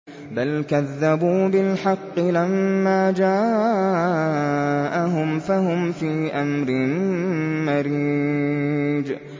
بَلْ كَذَّبُوا بِالْحَقِّ لَمَّا جَاءَهُمْ فَهُمْ فِي أَمْرٍ مَّرِيجٍ